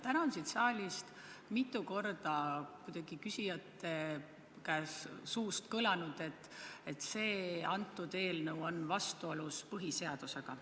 Täna on siin saalis küsijate suust mitu korda kõlanud, et see eelnõu on vastuolus põhiseadusega.